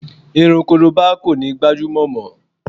Irun korobá kò ní gbajúmọ̀ mọ